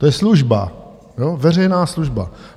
To je služba, veřejná služba.